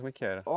Como é que era?